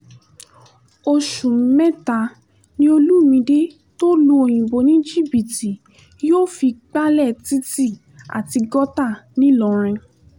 oṣù mẹ́ta ni olùmìde tó lu òyìnbó ní jìbìtì yóò fi gbalẹ̀ títì àti gọ́tà ńìlọrin